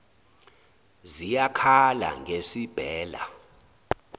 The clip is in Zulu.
ziyak hala ngesibhela